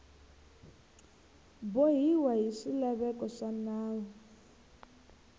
bohiwa hi swilaveko swa nawu